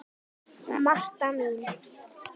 Marta mín.